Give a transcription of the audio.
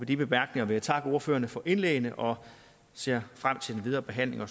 de bemærkninger vil jeg takke ordførerne for indlæggene og ser frem til den videre behandling og